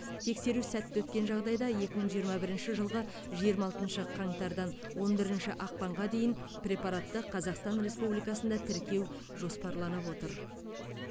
тексеру сәтті өткен жағдайда екі мың жиырма бірінші жылғы жиырма алтыншы қаңтардан он бірінші ақпанға дейін препаратты қазақстан республикасында тіркеу жоспарланып отыр